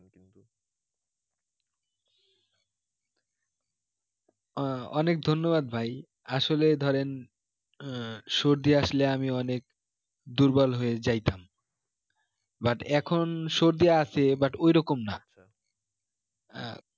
আহ অনেক ধন্যবাদ ভাই আসলে ধরেন আহ সর্দি আসলে আমি অনেক দুর্বল হয়ে যাইতাম but এখন সর্দি আসে but ওই রকম না হ্যাঁ